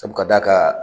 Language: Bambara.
Sabu ka d'a ka